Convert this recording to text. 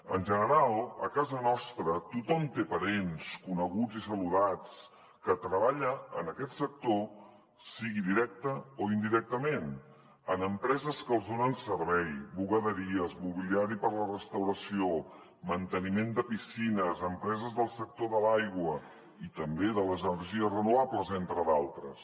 en general a casa nostra tothom té parents coneguts i saludats que treballen en aquest sector sigui directament o indirectament en empreses que els donen servei bugaderies mobiliari per a la restauració manteniment de piscines empreses del sector de l’aigua i també de les energies renovables entre d’altres